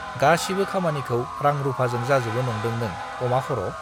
गासिबो खामानिखौ रां-रुफाजों जाजोबो नंदों नों अमा खर'?